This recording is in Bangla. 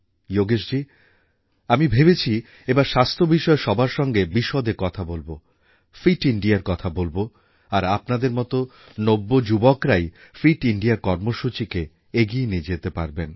যোগেশজী আমি ভেবেছি এবার স্বাস্থ্য বিষয়ে সবার সঙ্গে বিশদে কথা বলব ফিট Indiaর কথা বলব আর আপনাদের মত নব্যযুবকরাই ফিট ইন্দিয়া কর্মসূচিকে এগিয়ে নিয়ে যেতে পারেন